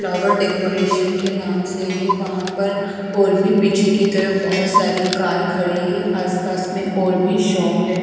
Flower decoration के नाम से है वहापर और भी पीछे की तरफ बहुत सारी कार खड़ी है आसपास में और भी शॉप है।